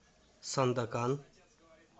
сандакан